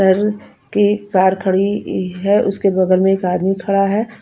पर के कार कड़ी है उसके बगल में एक आदमी खड़ा है।